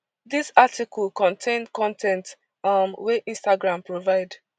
dis article contain con ten t um wey instagram provide